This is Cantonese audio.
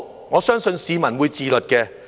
我相信市民會自律的。